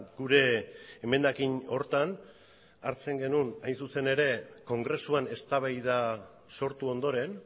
gure emendakin horretan hartzen genuen hain zuzen ere kongresuan eztabaida sortu ondoren